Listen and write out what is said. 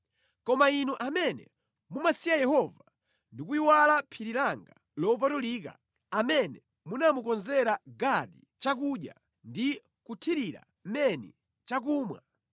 “Koma inu amene mumasiya Yehova ndi kuyiwala phiri langa lopatulika, amene munamukonzera Gadi chakudya ndi kuthirira Meni chakumwa,